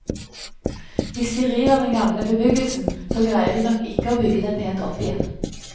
Hvis de river den gamle bebyggelsen, så greier de nok ikke å bygge den pent opp igjen.